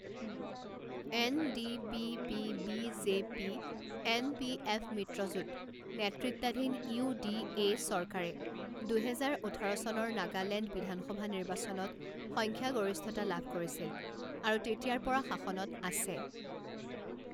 N D P P B J P N P F মিত্ৰজোঁট নেতৃত্বাধীন U D A চৰকাৰে দুহেজাৰ ওঠৰ চনৰ নাগালেণ্ড বিধানসভা নিৰ্বাচনত সংখ্যাগৰিষ্ঠতা লাভ কৰিছিল আৰু তেতিয়াৰ পৰা শাসনত আছে।